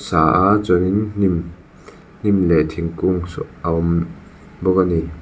ta a chuanin hnim hnim leh thingkung saw a awm bawk ani.